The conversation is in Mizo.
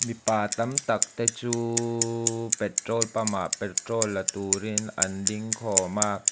mipa tam tak te chu petrol pump ah petrol la turin an ding khawm a.